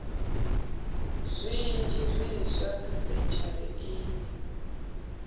zwinzhi zwiswa kha sentshari iyi